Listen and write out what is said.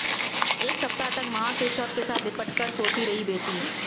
एक सप्ताह तक मां के शव के साथ लिपटकर कर सोती रही बेटी